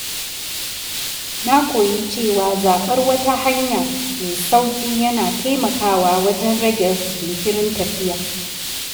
Na koyi cewa zaɓar wata hanya mai sauƙi yana taimakawa wajen rage jinkirin tafiya.